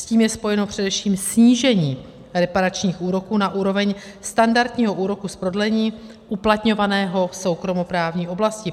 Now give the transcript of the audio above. S tím je spojeno především snížení reparačních úroků na úroveň standardního úroku z prodlení uplatňovaného v soukromoprávní oblasti.